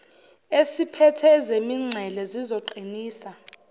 esiphethe ezemingcele sizoqinisa